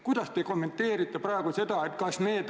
Kuidas te kommenteerite praegu seda?